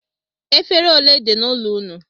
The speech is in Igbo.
Efere ole dị n'ụlọ ụnụ?